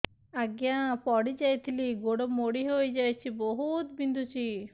ଆଜ୍ଞା ପଡିଯାଇଥିଲି ଗୋଡ଼ ମୋଡ଼ି ହାଇଯାଇଛି ବହୁତ ବିନ୍ଧୁଛି